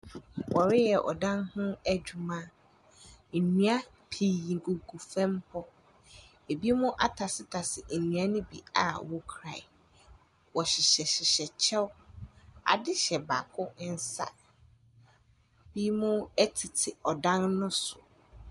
Wɔreyɛ ɔdan ho adwuma. Nnua pii gugu fam hɔ. Ebinom atasetase nnua no bi a wɔkura. Wɔhyehyɛhyehyɛ kyɛw. Ade hyɛ baako nsa. Binom tete dan no so.